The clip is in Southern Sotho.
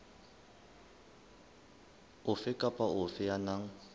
ofe kapa ofe ya nang